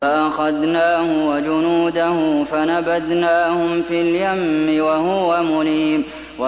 فَأَخَذْنَاهُ وَجُنُودَهُ فَنَبَذْنَاهُمْ فِي الْيَمِّ وَهُوَ مُلِيمٌ